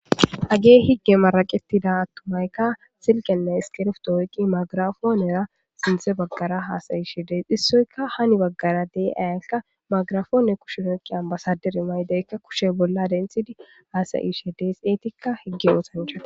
agee higge maraqetida attumaykka silqenne iskirf doyqi magirafoonera sinthe baggara haasayishe dee hissoyka hani baggara dee ayaka magrafoone kushenoyqiyan basadire maydeykka kushe bolla denthidi haasayishe dee xeetikka higge oosancha